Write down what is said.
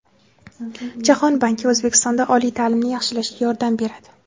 Jahon banki O‘zbekistonda oliy ta’limni yaxshilashga yordam beradi .